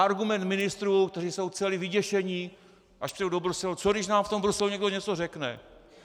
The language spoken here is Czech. Argument ministrů, kteří jsou celí vyděšení, až přijedou do Bruselu - co když nám v tom Bruselu někdo něco řekne?